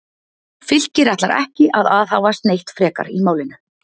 Fylkir ætlar ekki að aðhafast neitt frekar í málinu.